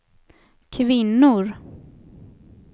kvinnor